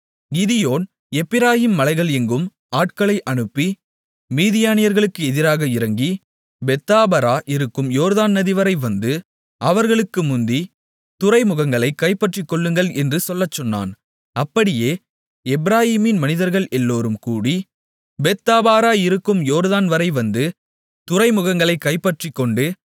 Gideon Ephraim மலைகள் எங்கும் ஆட்களை அனுப்பி மீதியானியர்களுக்கு எதிராக இறங்கி பெத்தாபரா இருக்கும் யோர்தான் நதி வரை வந்து அவர்களுக்கு முந்தித் துறைமுகங்களைக் கைப்பற்றிக்கொள்ளுங்கள் என்று சொல்லச் சொன்னான் அப்படியே எப்பிராயீமின் மனிதர்கள் எல்லோரும் கூடி பெத்தாபரா இருக்கும் யோர்தான் வரை வந்து துறைமுகங்களைக் கைப்பற்றிக்கொண்டு